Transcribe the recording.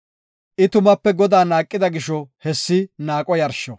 I tumape Godaa naaqida gisho hessi naaqo yarsho.